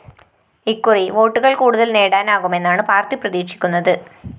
ഇക്കുറി വോട്ടുകള്‍ കൂടുതല്‍ നേടാനാകുമെന്നാണ് പാര്‍ട്ടി പ്രതീക്ഷിക്കുന്നത്